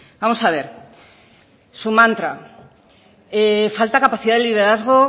vamos a ver su mantra falta capacidad de liderazgo